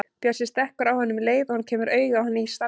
Bjössi stekkur á hann um leið og hann kemur auga á hann í salnum.